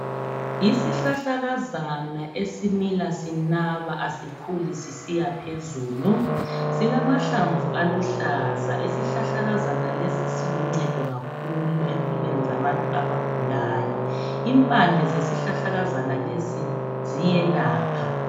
Isihlahlakazana esimila sinaba asikhuli sisiya phezulu. Silamahlamvu aluhlaza, isihlahlakazana lesi siluncedo kakhulu empilweni zabantu abagulayo. Impande zesihlahlakazana lesi ziyelapha.